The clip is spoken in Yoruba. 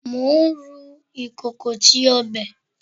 Mo n ru ikoko ti ọbẹ